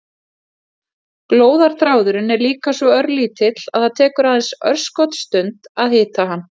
Glóðarþráðurinn er líka svo örlítill að það tekur aðeins örskotsstund að hita hann.